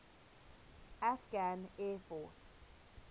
afghan air force